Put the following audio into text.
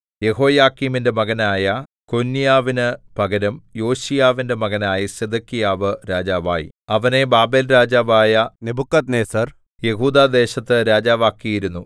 യെഹോയാക്കീമിന്റെ മകനായ കൊന്യാവിനു പകരം യോശീയാവിന്റെ മകനായ സിദെക്കീയാവ് രാജാവായി അവനെ ബാബേൽരാജാവായ നെബൂഖദ്നേസർ യെഹൂദാദേശത്ത് രാജാവാക്കിയിരുന്നു